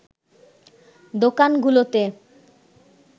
দোকানগুলোতে